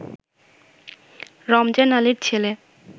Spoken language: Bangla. রমজান আলীর ছেলে